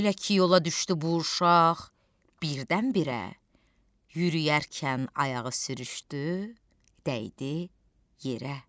Elə ki yola düşdü bu uşaq, birdən-birə yürüyərkən ayağı sürüşdü, dəydi yerə.